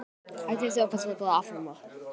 Hafsteinn Hauksson: Hvernig lýst þér á þá leið?